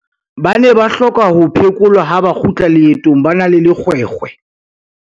ba ne ba hloka ho phekolwa ha ba kgutla leetong ba na le lekgwekhwe